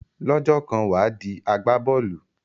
Lọ́jọ́ kan wà á di agbá bọ́ọ̀lù.